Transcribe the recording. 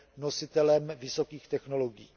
nositelem vysokých technologií.